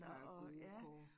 Der er gode kår